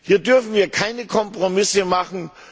Hier dürfen wir keine Kompromisse machen.